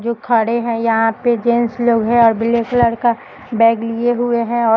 जो खड़े हैं यहां पे जेंस लोग हैं और हरे कलर का बैग लिए हुए हैं और --